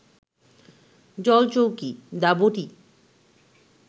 জলচৌকি, দা বটি